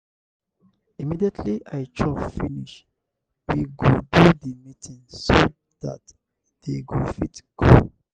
immediately i chop finish we go do the meeting so dat they go fit go.